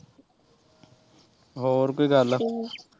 ਹੋਰ ਕੋਈ ਗੱਲ